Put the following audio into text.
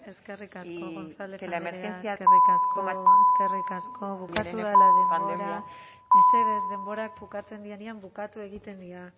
y que la emergencia eskerrik asko gonzález andrea mesedez denbora bukatzen denean bukatu egiten dira